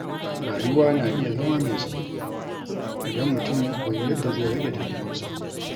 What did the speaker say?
Rayuwa na iya zama mai sauƙi idan mutum ya koyi yadda zai rage damuwarsa.